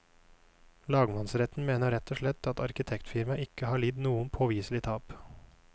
Lagmannsretten mener rett og slett at arkitektfirmaet ikke har lidd noe påviselig tap.